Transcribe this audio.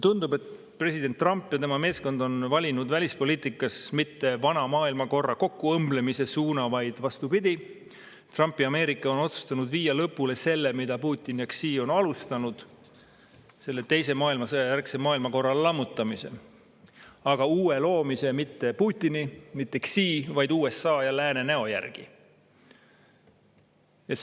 Tundub, et president Trump ja tema meeskond on valinud välispoliitikas mitte vana maailmakorra kokkuõmblemise suuna, vaid vastupidi: Trumpi Ameerika on otsustanud viia lõpule selle, mida Putin ja Xi on alustanud selle teise maailmasõja järgse maailmakorra lammutamisel, aga uue loomise mitte Putini ega Xi, vaid USA ja lääne näo järgi.